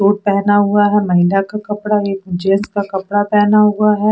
suit पहना हुआ है महिला का कपड़ा है जेन्स का कपड़ा पहना हुआ है मोल --